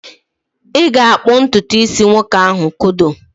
ị ga-akpụ ntutu isi nwoke ahụ scodo?